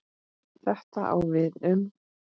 Þetta á við um